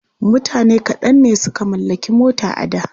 Mutane kaɗan ne suka mallaki mota a da.